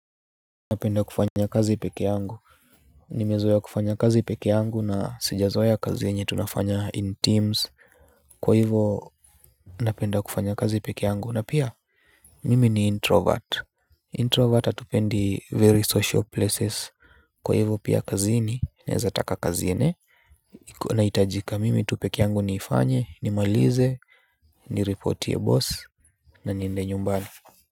Napenda kufanya kazi pekee yangu, nimezoea kufanya kazi pekee yangu na sija zoea kazi yenye tunafanya in teams. Kwa hivo napenda kufanya kazi pekee yangu na pia mimi ni introvert, introvert atupendi very social places. Kwa hivo pia kazini naeza taka kazi ene. Nahitajika mimi tu pekee yangu nifanye, nimalize, nireportie boss na niende nyumbani.